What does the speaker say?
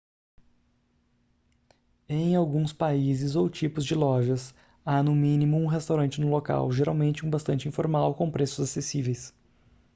em alguns países ou tipos de lojas há no mínimo um restaurante no local geralmente um bastante informal com preços acessíveis